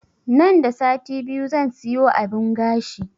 Nan da sati biyu zan siyo abun gashi